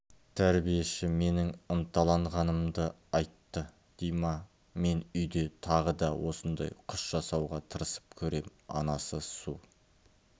тәрбиеші менің ынталанғанымды айтты дима мен үйде тағы да осындай құс жасауға тырысып көрем анасы су